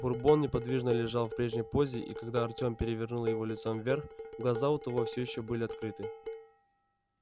бурбон неподвижно лежал в прежней позе и когда артем перевернул его лицом вверх глаза у того все ещё были открыты